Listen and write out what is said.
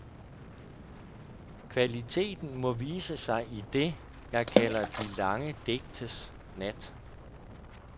Kvaliteten må vise sig i det, jeg kalder de lange digtes nat.